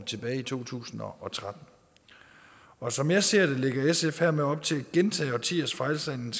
tilbage i to tusind og tretten og som jeg ser det lægger sf hermed op til at gentage årtiers fejlslagne